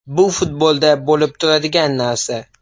Bu futbolda bo‘lib turadigan narsa.